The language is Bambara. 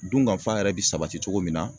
Dunkafa yɛrɛ bi sabati cogo min na